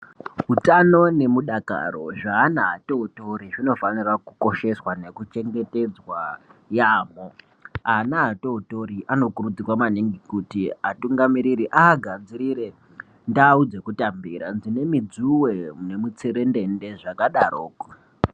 Utano nemudakaro zveana atototori zvinofanira kukosheswa nekuchengetedzwa yaambo ana atotori anokurudzirwa maningi kuti atungamiriri aagadzirire ndau dzekutambira dzine midzuwe nemutserendende zvakadaroko.